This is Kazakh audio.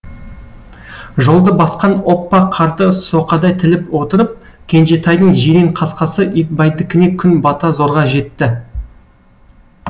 жолды басқан оппа қарды соқадай тіліп отырып кенжетайдың жирен қасқасы итбайдікіне күн бата зорға жетті